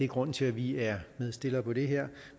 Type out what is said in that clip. grunden til at vi er medstillere på det her